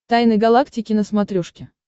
тайны галактики на смотрешке